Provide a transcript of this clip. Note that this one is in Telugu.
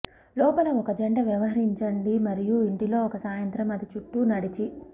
లోపల ఒక జంట వ్యవహరించండి మరియు ఇంటిలో ఒక సాయంత్రం అది చుట్టూ నడిచి